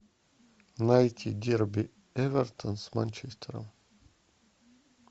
найти дерби эвертон с манчестером